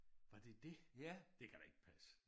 Var det det? Det kan da ikke passe